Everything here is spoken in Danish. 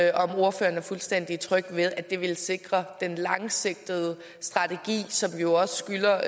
er ordføreren fuldstændig tryg ved at det vil sikre den langsigtede strategi som vi jo også skylder